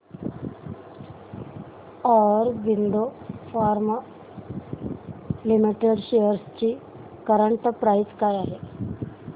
Aurobindo pharma limited shares ची current price काय आहे